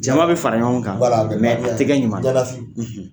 Jama bɛ fara ɲɔgɔn kan u tɛ kɛ ɲuman ye